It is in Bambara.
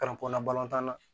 Kalan kɔnɔntɔn na